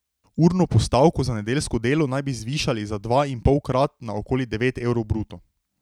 Urno postavko za nedeljsko delo naj bi zvišali za dvainpolkrat na okoli devet evrov bruto.